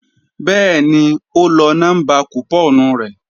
Bẹ́ẹ̀ni ó lọ nọ́mbà kùpọ́ọ̀nù rẹ̀